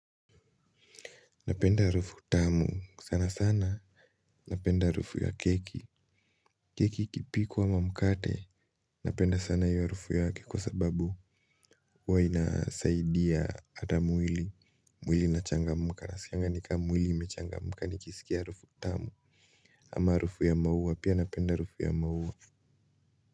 Napenda harufu tamu sana sana. Napenda harufu ya keki. Keki ikipikwa ama mkate. Napenda sana hiyo harufu yake kwa sababu huwa inasaidia hata mwili. Mwili inachangamka nasikianga ni kama mwili imechangamka nikisikia ya harufu tamu ama harufu ya maua pia napenda harufu ya maua.